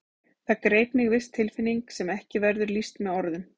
Það greip mig viss tilfinning sem ekki verður lýst með orðum.